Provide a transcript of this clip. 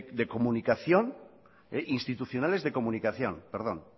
institucionales de comunicación